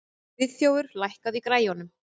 Friðþjófur, lækkaðu í græjunum.